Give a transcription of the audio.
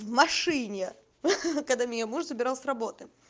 в машине ха-ха когда меня муж забирал с работы